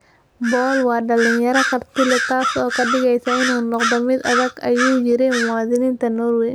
"Paul waa dhalinyaro karti leh - taasoo ka dhigaysa inuu noqdo mid adag," ayuu yiri muwaadiniinta Norway.